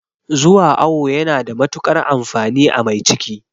Zuwa awo yana da matuƙar amfani a mai ciki